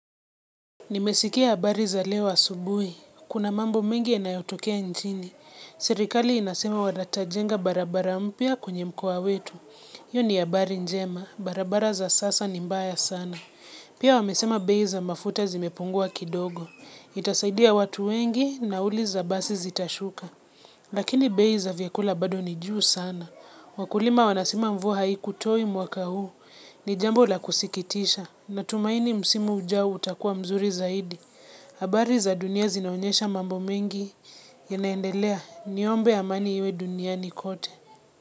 Nimesikia habari za leo asubuhi. Kuna mambo mingi yanayotokea nchini Serikali inasema watajenga barabara mpya kwenye mkoa wetu hiyo ni habari njema barabara za sasa ni mbaya sana. Pia wamesema bei za mafuta zimepungua kidogo. Itasaidia watu wengi, nauli za basi zitashuka. Lakini bei za vyakula bado ni juu sana. Wakulima wanasema mvua haikutoi mwaka huu. Ni jambo la kusikitisha, natumaini msimu ujao utakua mzuri zaidi. Habari za dunia zinaonyesha mambo mengi yanaendelea. Niombe amani iwe duniani kote.